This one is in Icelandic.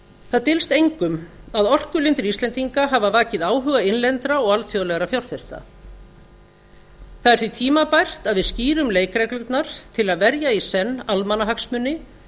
það dylst engum að orkulindir íslendinga hafa vakið áhuga innlendra og alþjóðlegra fjárfesta það er því tímabært að við skýrum leikreglurnar til að verja í senn almannahagsmuni